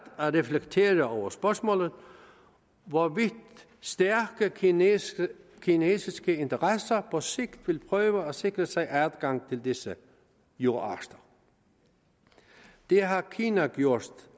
at reflektere over spørgsmålet om hvorvidt stærke kinesiske kinesiske interesser på sigt vil prøve at sikre sig adgang til disse jordarter det har kina gjort